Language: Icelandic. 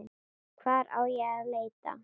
Hvar á ég að leita.